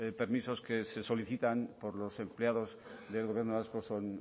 permisos que se solicitan por los empleados del gobierno vasco son